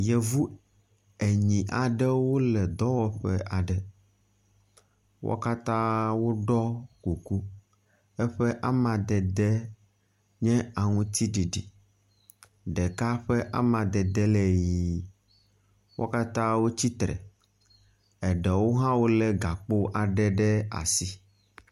Yevu enyi aɖewo le dɔwɔƒe aɖe. wo katã woɖɔ kuku eƒe amadede nye aŋutsiɖiɖi. Ɖeka ƒe amadede le ʋi. Wo katã wotsi tre, eɖewo hã wo le gakpo aɖe ɖe asi.